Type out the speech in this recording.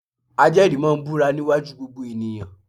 Ajẹ́rìí máa búra níwájú gbogbo ènìyàn